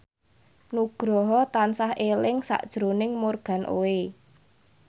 Nugroho tansah eling sakjroning Morgan Oey